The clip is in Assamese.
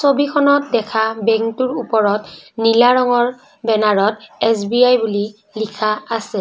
ছবিখনত দেখা বেংক টোৰ ওপৰত নীলা ৰঙৰ বেনাৰ ত এছ_বি_আই বুলি লিখা আছে।